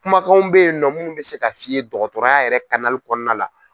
Kumakanw bɛ yen nɔ mun bɛ se ka f'i ye dɔgɔtɔrɔya yɛrɛ kɔnɔna la.